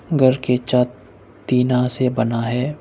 घर की छत टीना से बना है।